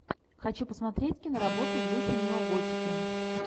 хочу посмотреть киноработу в духе неоготики